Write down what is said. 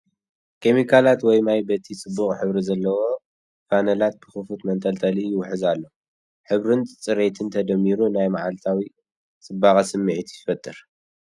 ኬሚካላት ወይ ማይ በቲ ጽቡቕ ሕብሪ ዘለዎ ፋነላት ብኽፉት መንጠልጠሊ ይውሕዝ ኣሎ። ሕብርን ጽሬትን ተደሚሩ ናይ መዓልታዊ ጽባቐ ስምዒት ይፈጥር።